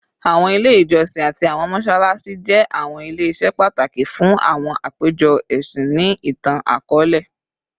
Awọn ile ijọsin ati awọn mọṣalaṣi jẹ awọn ile-iṣẹ pataki fun awọn apejọ ẹsin ni itan-akọọlẹ